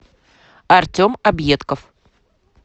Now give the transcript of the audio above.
артем объедков